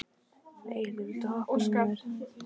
Eyhildur, viltu hoppa með mér?